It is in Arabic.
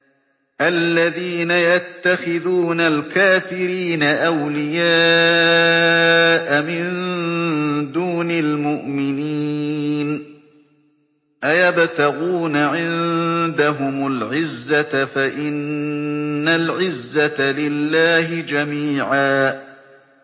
الَّذِينَ يَتَّخِذُونَ الْكَافِرِينَ أَوْلِيَاءَ مِن دُونِ الْمُؤْمِنِينَ ۚ أَيَبْتَغُونَ عِندَهُمُ الْعِزَّةَ فَإِنَّ الْعِزَّةَ لِلَّهِ جَمِيعًا